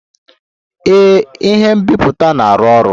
Ee, ihe nbipute na-arụ ọrụ